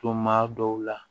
Tuma dɔw la